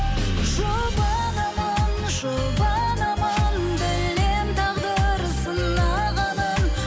жұбанамын жұбанамын білемін тағдыр сынағанын